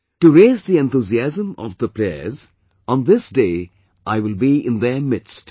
To raise the enthusiasm of the players on this day, I will be in their midst